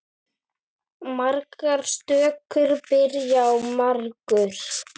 Margar stökur byrja á margur.